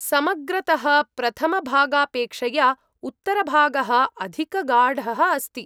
समग्रतः, प्रथमभागापेक्षया उत्तरभागः अधिकगाढः अस्ति ।